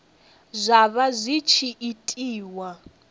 zwa vha zwi tshi itiwa